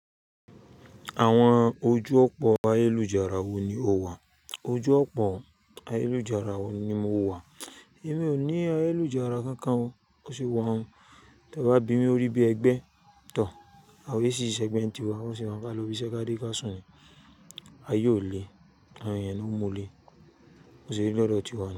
Àwọn ojú ọ̀pọ̀ ayélujára wo ni o wà? Ojú ọ̀pọ̀ ayélujára wo ni mo wà? Èmi ò ní ayélujára kankan o. Bo sì wà hun. Tí ọ bá bí mi lorí bí ẹgbẹ́ tọ̀, awon orisirisi ẹ̀gbẹ́ nì tíwa bo sì wa hun ká lọ ibisẹ́ ká de kà sùn ni. Aye ò le, àwọn ènìyàn náà ń mú u le. Bo se rí lọ́dọ̀ tiwa nu.